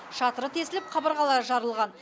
шатыры тесіліп қабырғалары жарылған